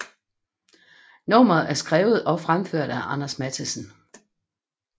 Nummeret er skrevet og fremført af Anders Matthesen